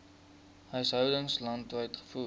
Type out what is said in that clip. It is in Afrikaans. huishoudings landwyd gevoer